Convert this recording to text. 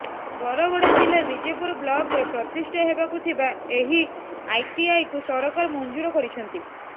ବରଗଡ଼ ଜିଲ୍ଲା ବିଜେପୁର ବ୍ଲକରେ ପ୍ରତିଷ୍ଠା ହେବାକୁ ଥିବା ଏହି ଆଇଟିଆଇକୁ ସରକାର ମଞ୍ଜୁର କରିଛନ୍ତି